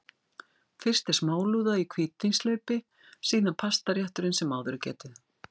Fyrst er smálúða í hvítvínshlaupi, síðan pastarétturinn sem áður er getið.